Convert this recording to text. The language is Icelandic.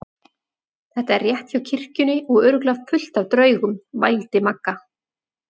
Þetta er rétt hjá kirkjunni og örugglega fullt af draugum. vældi Magga.